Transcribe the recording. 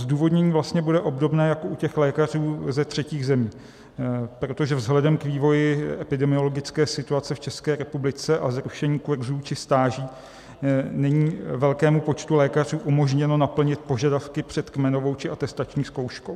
Zdůvodnění vlastně bude obdobné jako u těch lékařů ze třetích zemí, protože vzhledem k vývoji epidemiologické situace v České republice a zrušení kurzů či stáží není velkému počtu lékařů umožněno naplnit požadavky před kmenovou či atestační zkouškou.